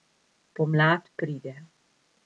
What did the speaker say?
Pomlad pride.